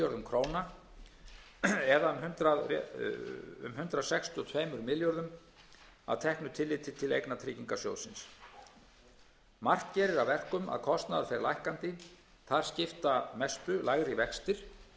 króna eða um hundrað sextíu og tveimur milljörðum króna að teknu tilliti til eigna tryggingarsjóðsins margt gerir að verkum að kostnaður fer lækkandi þar skipta mestu lægri